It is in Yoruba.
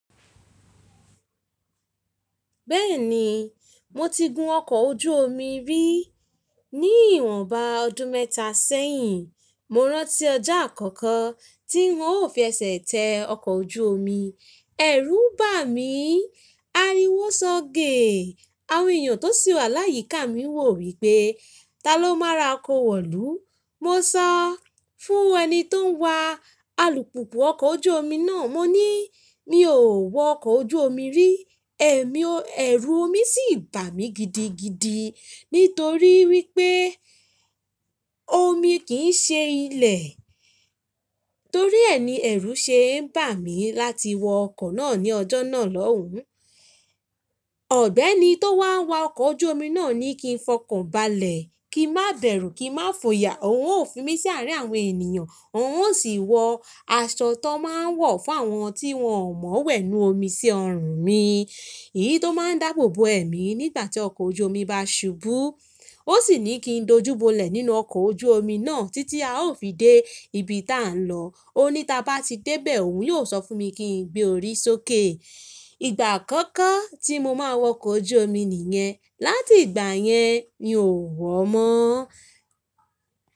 Bẹ́ẹ̀ni, mo ti gun ọkọ̀ ojú omi rí ní ìwọ̀nba ọdún mẹ́ta sẹ́yìn. Mo rántí ọjọ́ àkọ́kọ́ tí n ó fi ẹsẹ̀ tẹ ọkọ̀ ojú omi, ẹ̀rù bà mí, ariwo sọ́ge, àwọn ènìyàn tó sì wà láyíká mi wò wípé, “ta ló máa rako wọ̀lú?” Mo sọ fún ẹni tó n wa alùpùpù ọkọ̀ ojú omi náà, mo ní, “mi ò wọ ọkọ̀ ojú omi rí.” ẹ̀mí ẹ̀rù omi sì bà mí gidigidi nítorí wípé́ omi kì ń ṣe ilẹ̀. Torí ẹ ni ẹ̀rù ṣe ń bà mí láti wọ ọkọ̀ náà ní ọjọ́ náà lọ́hùn. Ọ̀gbẹ́ni tó wá a wa ọkọ̀ ojú omi náà ní kí n fọkàn balẹ̀, kí i má bẹ̀rù, kí i má fòyà, òun ó fi mí sí àárín àwọn ènìyàn, òun ó sì wọ aṣọ tó máa ń wọ̀ fún àwọn tí wọ́n ò mọ̀ọ́ wẹ̀ nínú omi sí ọrùn mí. Èyí tó máa ń dáàbò bo ẹ̀mí nígbàtí ọkọ̀ ojú omi bá ṣubú. Ó sì ní kí n dojúbolẹ̀ nínú ọkọ̀ ojú omi náà títí a ó fi dé ibi tá ń lọ. Ó ní tí a bá ti dé bẹ̀ òun yóò sọ fún mi kí n gbé orí sókè. Ìgbà àkọ́kọ́ tí mo máa wọ ọkọ̀ ojú omi nìyẹn. Láti ìgbà yẹn, mi ò wọ̀ mọ́.